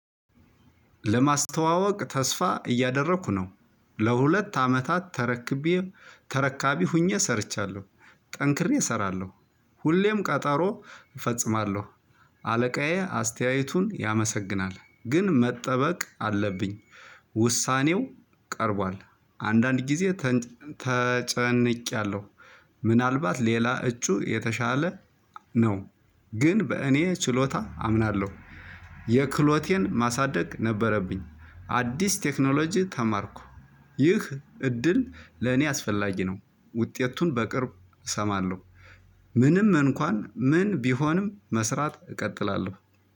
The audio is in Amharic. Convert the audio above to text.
ለማስተዋወቅ ተስፋ እያደረኩ ነው ለሁለት አመታት ተረክቤ ተረካቢ ሆኜ ሰርቻለሁ። ጠንክሬ እሰራለሁ። ሁሌም ቀጠሮ እፈጽማለሁ። አለቃዬ አስተያየቱን ያመሰግናል ግን መጠበቅ አለብኝ። ውሳኔው ቀርቧል። አንዳንድ ጊዜ ተጨንቄያለሁ። ምናልባት ሌላ እጩ የተሻለ ነው። ግን በእኔ ችሎታ አምናለሁ። የክህሎቴን ማሳደግ ነበረብኝ አዲስ ቴክኖሎጂ ተማርኩ። ይህ እድል ለእኔ አስፈላጊ ነው። ውጤቱን በቅርቡ እሰማለሁ። ምንም እንኳን ምን ቢሆንም መስራት እቀጥላለሁ